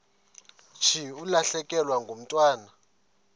thi ulahlekelwe ngumntwana